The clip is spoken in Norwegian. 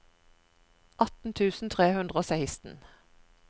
atten tusen tre hundre og seksten